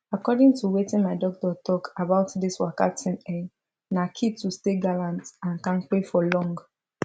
according to weitin my doctor talk about this waka thing ehh na key to stay gallant and kampe for long